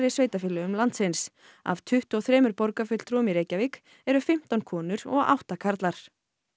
sveitarfélögum landsins af tuttugu og þremur borgarfulltrúum í Reykjavík eru fimmtán konur og átta karlar